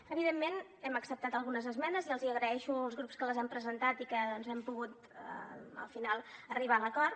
evidentment hem acceptat algunes esmenes i els hi agraeixo als grups que les han presentat i que doncs hem pogut al final arribar a l’acord